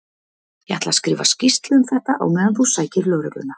Ég ætla að skrifa skýrslu um þetta á meðan þú sækir lögregluna.